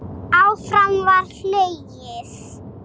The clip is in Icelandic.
Áfram var hlegið.